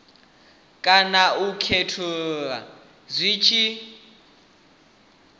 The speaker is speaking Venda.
kana u khethulula zwi tshi